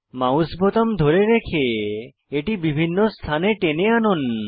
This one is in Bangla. মাউস বোতাম ধরে রেখে এটিকে বিভিন্ন স্থানে টেনে আনুন